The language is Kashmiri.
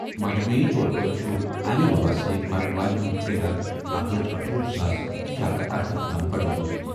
مجموعی طور پٲٹھۍ چھُ امہِ وبا سۭتۍ مرن والٮ۪ن ہُنٛد تعداد اکھ لچھ أٹھوُہ ساس شے ہتھ تہٕ ارہأٹھ تام بڈیمُت۔